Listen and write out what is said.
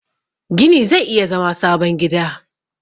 gini zai iya zama sabon gida